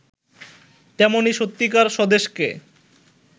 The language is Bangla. তেমনি সত্যিকার স্বদেশকে